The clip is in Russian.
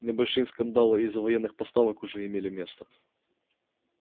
небольшие скандалы из-за военных поставок уже имели место